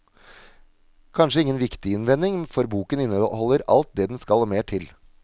Kanskje ingen viktig innvending, for boken inneholder alt det den skal og mer til.